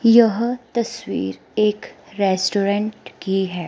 यह तस्वीर एक रेस्टोरेंट की है।